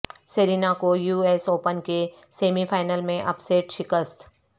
Serena کو U S open کے semi final میں اپ سیٹ شکست